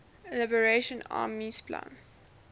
liberation army spla